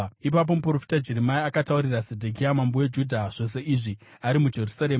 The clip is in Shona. Ipapo muprofita Jeremia akataurira Zedhekia mambo weJudha zvose izvi, ari muJerusarema,